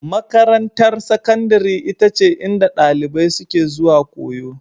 Makarantar Sakandare ita ce inda ɗalibai suke zuwa koyo.